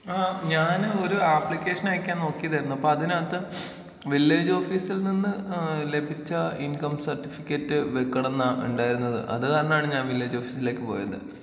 ആ ഞാന് ഒരു അപ്ലിക്കേഷൻ അയക്കാൻ നോക്കിയതായിരുന്നു അപ്പതിനകത്ത് വില്ലേജ് ഓഫീസിൽ നിന്ന് ഏ ലഭിച്ച ഇൻകം സർട്ടിഫിക്കറ്റ് വെക്കണംന്നാണ ഇണ്ടായിരുന്നത് അത് കാരണാണ് ഞാൻ വില്ലേജ് ഓഫീസിലേക്ക് പോയത്.